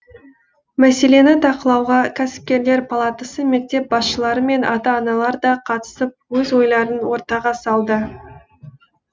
мәселені талқылауға кәсіпкерлер палатасы мектеп басшылары мен ата аналар да қатысып өз ойларын ортаға салды